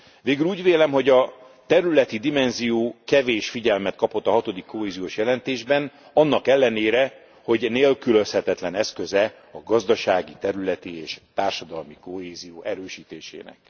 Végül úgy vélem, hogy a területi dimenzió kevés figyelmet kapott a hatodik kohéziós jelentésben, annak ellenére, hogy nélkülözhetetlen eszköze a gazdasági, területi és társadalmi kohézió erősítésének.